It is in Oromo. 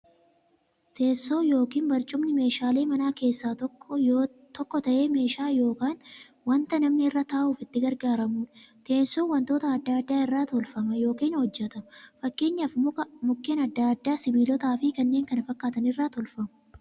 Teessoon yookiin barcumni meeshaalee manaa keessaa tokko ta'ee, meeshaa yookiin wanta namni irra ta'uuf itti gargaaramuudha. Teessoon wantoota adda addaa irraa tolfama yookiin hojjatama. Fakkeenyaf Mukkeen adda addaa, sibilootaafi kanneen kana fakkaatan irraa tolfamu.